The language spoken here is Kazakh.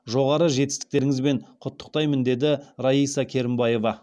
жоғары жетістіктеріңізбен құттықтаймын деді раиса керімбаева